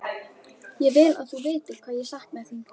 Ég vil að þú vitir hvað ég sakna þín.